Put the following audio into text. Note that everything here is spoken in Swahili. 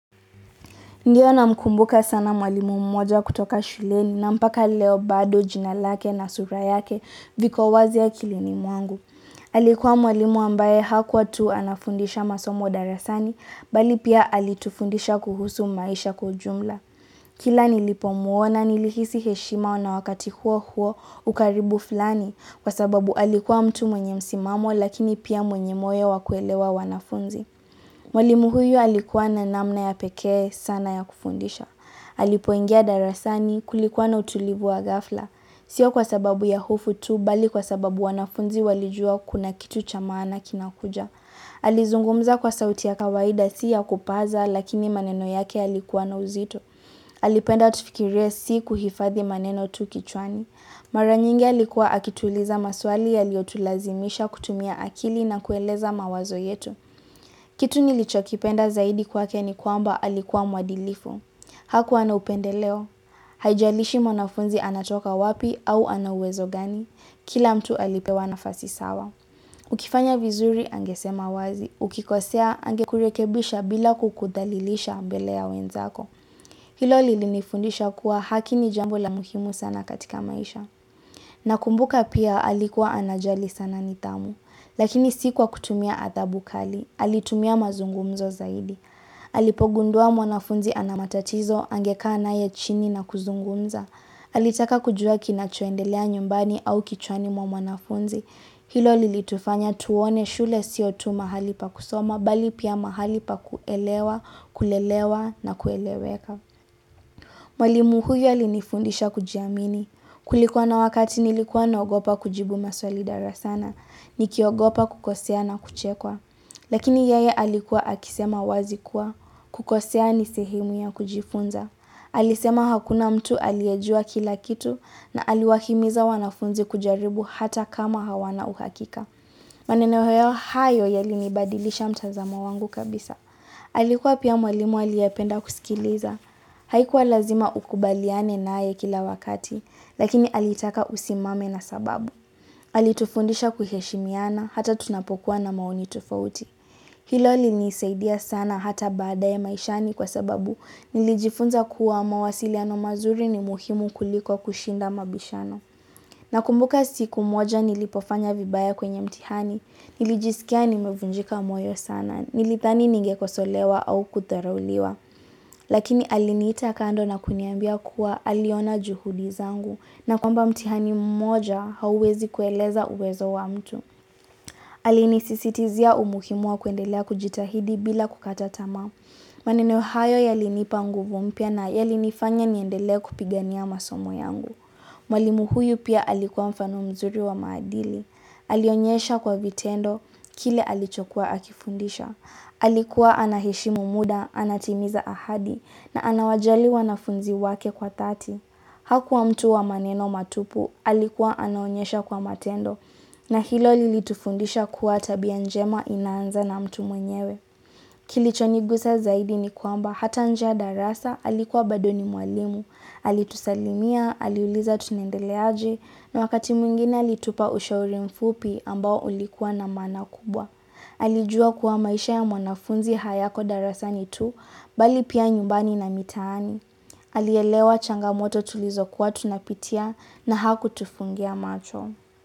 Ndiyo namkumbuka sana mwalimu mmoja kutoka shuleni na mpaka leo bado jina lake na sura yake viko wazi akilini mwangu. Alikuwa mwalimu ambaye hakuwa tu anafundisha masomo darasani bali pia alitufundisha kuhusu maisha kwa ujumla. Kila nilipomuona nilihisi heshima na wakati huo huo ukaribu fulani, kwa sababu alikuwa mtu mwenye msimamo lakini pia mwenye moyo wakuelewa wanafunzi. Mwalimu huyu alikuwa na namna ya pekee sana ya kufundisha. Alipoingia darasani kulikuwa na utulivu wa ghafla. Sio kwa sababu ya hofu tu bali kwa sababu wanafunzi walijua kuna kitu cha maana kinakuja. Alizungumza kwa sauti ya kawaida, si ya kupaza lakini maneno yake yalikuwa na uzito. Alipenda tufikirie si kuhifadhi maneno tu kichwani. Mara nyingi alikuwa akituuliza maswali yaliyotulazimisha kutumia akili na kueleza mawazo yetu. Kitu nilichokipenda zaidi kwake ni kwamba alikuwa mwadilifu. Hakuwa na upendeleo. Haijalishi mwanafunzi anatoka wapi au ana uwezo gani. Kila mtu alipewa nafasi sawa. Ukifanya vizuri, angesema wazi. Ukikosea, angekurekebisha bila kukudhalilisha mbele ya wenzako. Hilo lilinifundisha kuwa haki ni jambo la muhimu sana katika maisha. Nakumbuka pia alikuwa anajali sana nidhamu. Lakini si kwakutumia adhabu kali, alitumia mazungumzo zaidi. Alipogundua mwanafunzi ana matatizo angekaa naye chini na kuzungumza. Alitaka kujua kinachoendelea nyumbani au kichwani mwa mwanafunzi. Hilo lilitufanya tuone shule sio tu mahali pa kusoma, bali pia mahali pa kuelewa, kulelewa, na kueleweka. Mwalimu huyo alinifundisha kujiamini. Kulikuwa na wakati nilikuwa na ogopa kujibu maswali darasani. Nikiogopa kukosea na kuchekwa. Lakini yeye alikuwa akisema wazi kuwa. Kukosea ni sehimu ya kujifunza. Alisema hakuna mtu aliyejua kila kitu na aliwahimiza wanafunzi kujaribu hata kama hawana uhakika. Maneno hayo yalinibadilisha mtazamo wangu kabisa. Alikuwa pia mwalimu aliyependa kusikiliza. Haikuwa lazima ukubaliane naye kila wakati, lakini alitaka usimame na sababu. Alitufundisha kuheshimiana, hata tunapokuwa na maoni tofauti. Hilo lilinisaidia sana hata badaye maishani kwa sababu nilijifunza kuwa mawasiliano mazuri ni muhimu kuliko kushinda mabishano. Na kumbuka siku moja nilipofanya vibaya kwenye mtihani, nilijisikia nimevunjika moyo sana, Nilidhani ningekosolewa au kudharauliwa. Lakini aliniita kando na kuniambia kuwa aliona juhudi zangu na kwamba mtihani mmoja hauwezi kueleza uwezo wa mtu. Alinisisitizia umuhimu wa kuendelea kujitahidi bila kukata tamaa. Maneno hayo yalinipa nguvu mpya na yalinifanya niendelee kupigania masomo yangu. Mwalimu huyu pia alikuwa mfano mzuri wa maadili. Alionyesha kwa vitendo, kile alichokuwa akifundisha. Alikuwa anaheshimu muda, anatimiza ahadi, na anawajali wanafunzi wake kwa dhati. Hakuwa mtu wa maneno matupu, alikuwa anaonyesha kwa matendo. Na hilo lilitufundisha kuwa tabia njema inaanza na mtu mwenyewe. Kilichonigusa zaidi ni kwamba hata nje ya darasa, alikuwa bado ni mwalimu. Alitusalimia, aliuliza tunaendeleaje na wakati mwingine alitupa ushauri mfupi ambao ulikua na maana kubwa Alijua kuwa maisha ya mwanafunzi hayako darasani tu, bali pia nyumbani na mitaani Alielewa changamoto tulizokuwa tunapitia na hakutufungia macho.